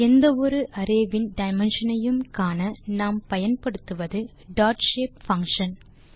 எந்த ஒரு அரே வின் டைமென்ஷன் ஐயும் காண நாம் பயன்படுத்துவது டாட்ஷேப் பங்ஷன்